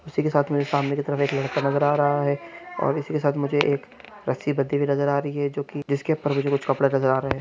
इसी के साथ मेरे सामने के तरफ एक लड़का नज़र आरहा है और इसी के साथ मुझे एक रस्सी बाँधी नज़र आरही है जो के जिस के ऊपर मुझे कुछ कपडे नज़र आरहे हैनॉइस.